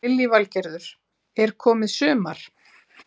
Lillý Valgerður: Er komið sumar?